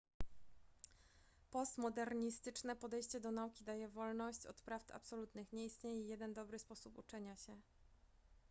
postmodernistyczne podejście do nauki daje wolność od prawd absolutnych nie istnieje jeden dobry sposób uczenia się